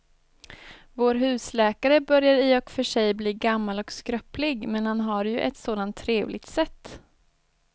Vår husläkare börjar i och för sig bli gammal och skröplig, men han har ju ett sådant trevligt sätt!